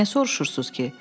Niyə soruşursunuz ki?